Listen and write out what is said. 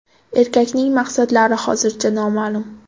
Erkakning maqsadlari hozircha noma’lum.